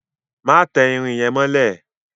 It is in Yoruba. Má tẹ irin yẹn mọ́lẹ̀!